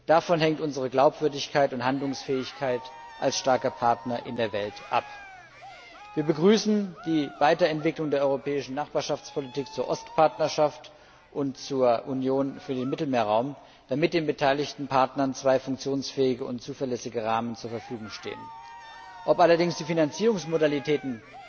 Davon hängt unsere Glaubwürdigkeit und Handlungsfähigkeit als starker Partner in der Welt ab. Wir begrüßen die Weiterentwicklung der Europäischen Nachbarschaftspolitik zur Ostpartnerschaft und zur Union für den Mittelmeerraum, damit den beteiligten Partnern zwei funktionsfähige und zuverlässige Rahmen zur Verfügung stehen. Ob allerdings die Finanzierungsmodalitäten